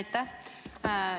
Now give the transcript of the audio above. Aitäh!